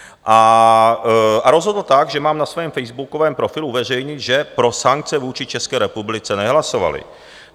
A rozhodl tak, že mám na svém facebookovém profilu uveřejnit, že pro sankce vůči České republice nehlasovali.